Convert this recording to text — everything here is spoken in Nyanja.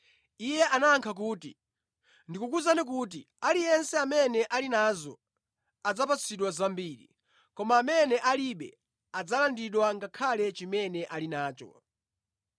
Iye anayankha kuti, “Ndikukuwuzani kuti, aliyense amene ali nazo, adzapatsidwa zambiri, koma amene alibe, adzalandidwa ngakhale chimene ali nacho.